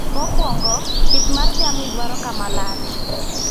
Mokuongo, pith mar jamni dwaro kama lach